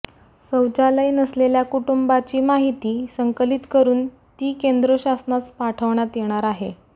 शौचालय नसलेल्या कुटुंबांची माहिती संकलित करुन ती केंद्र शासनास पाठवण्यात येणार आहे